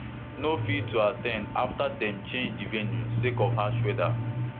no fit to at ten d afta dem change di venue sake of harsh weather